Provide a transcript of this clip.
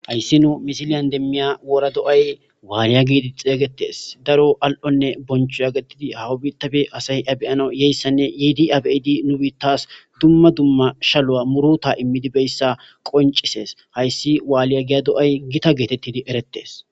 hayssi nu misiliyan demmiya wora do7ay waaliya giidi xeygetes daro al7onne boncho yagattidi hawa bitabe asay abeyana yeyssanne yiidi abeidi nu biittas dumma dumma shalu7a muruta immidibeyssa qoncisees hayssi waaliya giya do7ay gita geetettidi erettes